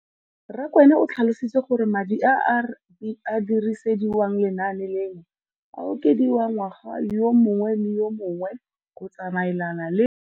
Rakwena o tlhalositse gore madi a a dirisediwang lenaane leno a okediwa ngwaga yo mongwe le yo mongwe go tsamaelana le.